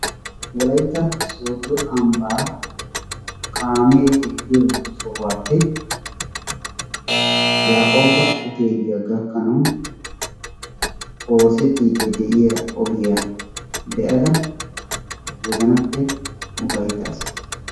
Wolaytta Sooddo Ambba kaame eqqiyoo sohuwappe Yaqqoba Hottelliya gakanaw oosetide de'iyaa ogiya de'ada wozannappe uffayttaas.